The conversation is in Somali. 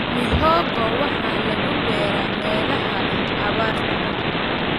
Mihogo waxaa lagu beeraa meelaha abaarta ah.